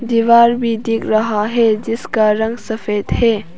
दीवार भी दिख रहा है जिसका रंग सफेद है।